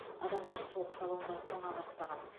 адамдар суық салонда тоңа бастаған